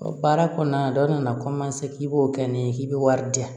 Baara kɔnɔna na dɔ nana k'i b'o kɛ ne ye k'i bɛ wari di yan